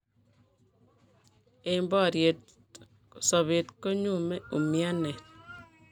Eng' boriet sobeet konyume umianet